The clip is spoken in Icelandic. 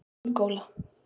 Angóla